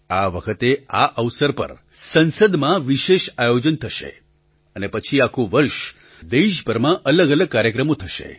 આ વખતે આ અવસર પર સંસદમાં વિશેષ આયોજન થશે અને પછી આખું વર્ષ દેશભરમાં અલગઅલગ કાર્યક્રમો થશે